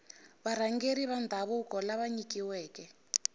varhangeri va ndhavuko lava nyikiweke